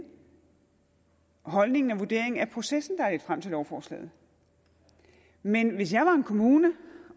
holdningen til og vurderingen af processen der har ledt frem til lovforslaget men hvis jeg var en kommune